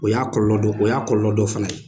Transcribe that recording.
O y'a kɔlɔlɔ dɔ , o y'a kɔlɔlɔ dɔ fana ye.